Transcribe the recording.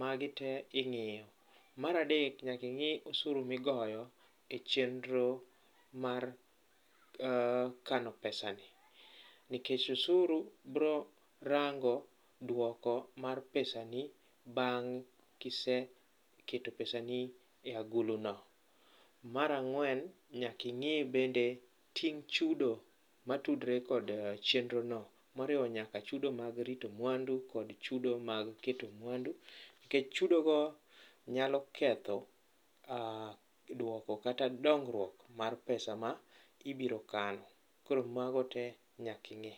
magi te ing'iyo. Mar adek, nyaka ing'i osuru migoyo e chenro mar kano pesani nikech osuru bro rango dwoko mar pesani bang' kiseketo pesani e aguluno. Mar ang'wen, nyaka ing'i bende ting' chudo matudre kod chenrono moriwo nyaka chudo mag rito mwandu kod chudo mag keto mwandu. Nikech chudogo nyalo ketho dwoko kata dongruok mar pesa ma ibiro kano. Koro mago te nyaka ing'i.